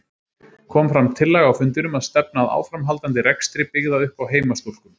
Kom fram tillaga á fundinum að stefna að áframhaldandi rekstri byggða upp á heimastúlkum.